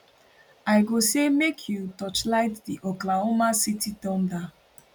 i go say make you torchlight di oklahoma city thunder